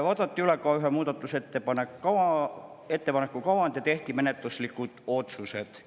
Vaadati üle ühe muudatusettepaneku kavand ja tehti menetluslikud otsused.